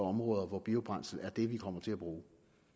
områder hvor biobrændsel er det vi kommer til at bruge